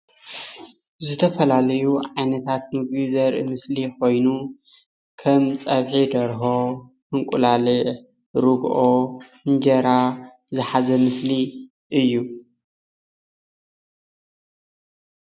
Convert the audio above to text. ዝተፈላለዩ ዓይነታት ምግብታት ዘርኢ ምስሊ ኮይኑ ከም ፀብሒ ደርሆ፣ እንቁላሊሕ ፣ርግኦ፣ እንጀራ ዝሓዘ ምስሊ እዩ፡፡